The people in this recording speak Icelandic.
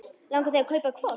Langar þig að kaupa hvolp?